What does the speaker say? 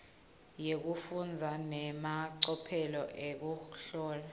yekufundza nemacophelo ekuhlola